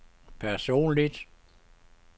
personligt